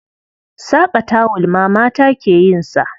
Saƙa tawul ma mata ke yin sa.